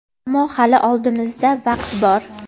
Ammo hali oldimizda vaqt bor.